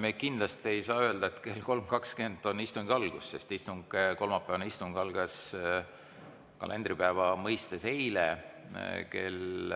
Me kindlasti ei saa öelda, et kell 3.20 on istungi algus, sest kolmapäevane istung algas kalendripäeva mõistes eile kell